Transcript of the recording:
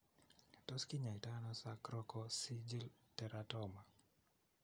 Tos kinyaatano sacrococcygeal teratoma ?